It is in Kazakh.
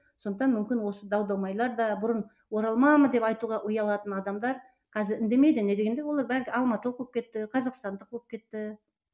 сондықтан мүмкін осы дау дамайлар да бұрын оралманмын деп айтуға ұялатын адамдар қазір үндемейді не дегенде олар бәрі алматылық болып кетті қазақстандық болып кетті